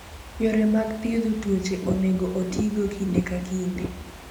Yore mag thiedho tuoche onego otigo kinde ka kinde.